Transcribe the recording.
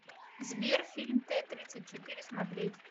сбер фильм тэ тридцать четыре смотреть